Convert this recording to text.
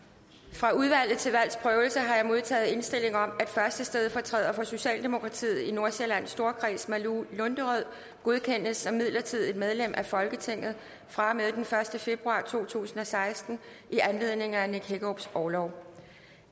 fra udvalget til valgs prøvelse har jeg modtaget indstilling om at første stedfortræder for socialdemokratiet i nordsjællands storkreds malou lunderød godkendes som midlertidigt medlem af folketinget fra og med den første februar to tusind og seksten i anledningen af nick hækkerups orlov